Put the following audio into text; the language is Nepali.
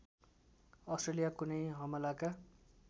अस्ट्रेलिया कुनै हमलाका